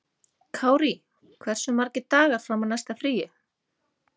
Kárí, hversu margir dagar fram að næsta fríi?